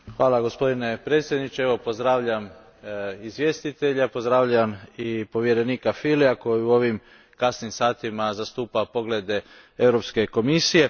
Gospodine predsjedniče, pozdravljam izvjestitelja, pozdravljam i povjerenika koji u ovim kasnim satima zastupa poglede Europske komisije.